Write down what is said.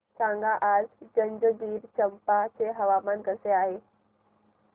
सांगा आज जंजगिरचंपा चे हवामान कसे आहे